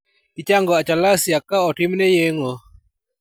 Ichango achalasia ka otimne yeng'o.